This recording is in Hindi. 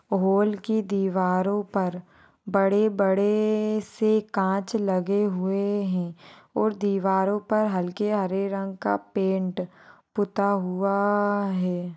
हॉल की दीवारों पर बड़े-बड़े से कांच लगे हुए हैं और दीवारों पर हल्के हरे रंगों का पैंट पुता हुआ है।